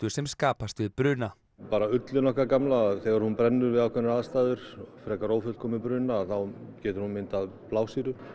sem skapast við bruna bara ullin okkar gamla þegar hún brennur við ákveðnar aðstæður frekar ófullkominn bruna þá getur hún myndað blásýru